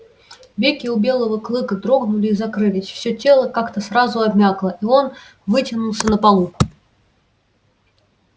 веки у белого клыка дрогнули и закрылись всё тело как то сразу обмякло и он вытянулся на полу